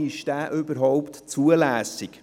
Ist dieser überhaupt zulässig?